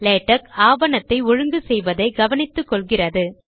LaTeX ஆவணத்தை ஒழுங்கு செய்வதை கவனித்துக்கொள்கிறது